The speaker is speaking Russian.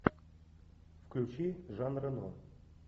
включи жан рено